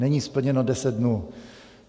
Není splněno deset dnů.